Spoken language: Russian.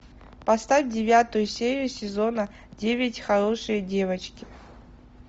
поставь девятую серию сезона девять хорошие девочки